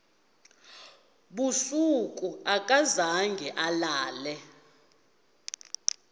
busuku akazange alale